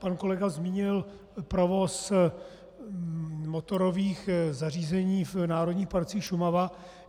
Pan kolega zmínil provoz motorových zařízení v národních parcích Šumava.